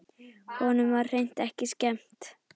Honum var hreint ekki skemmt.